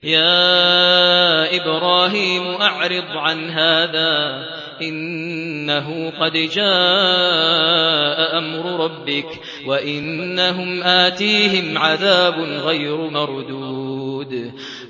يَا إِبْرَاهِيمُ أَعْرِضْ عَنْ هَٰذَا ۖ إِنَّهُ قَدْ جَاءَ أَمْرُ رَبِّكَ ۖ وَإِنَّهُمْ آتِيهِمْ عَذَابٌ غَيْرُ مَرْدُودٍ